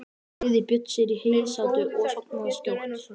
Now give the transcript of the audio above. Fleygði Björn sér í heysátu og sofnaði skjótt.